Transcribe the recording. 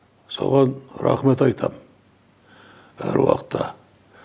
соған рахмет айтам әруақытта